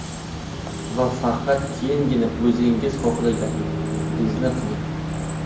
Va faqat keyingina o‘zingiz xohlaganingizni qiling.